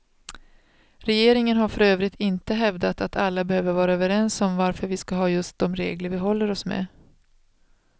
Regeringen har för övrigt inte hävdat att alla behöver vara överens om varför vi skall ha just de regler vi håller oss med.